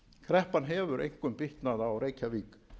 kreppan hefur einkum bitnað á reykjavík